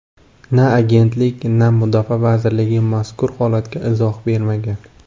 Na agentlik, na mudofaa vazirligi mazkur holatga izoh bermagan.